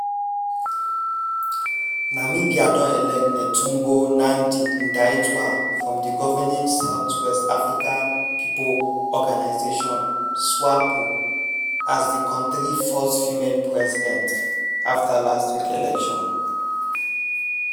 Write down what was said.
namibia don elect netumbo nandi-ndaitwah from di governing south west africa pipo organisation (swapo) as di kontri first female president afta last week election